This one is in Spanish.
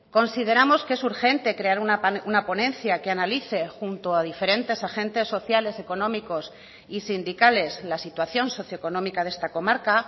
consideramos que es urgente crear una ponencia que analice junto a diferentes agentes sociales económicos y sindicales la situación socio económica de esta comarca